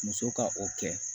Muso ka o kɛ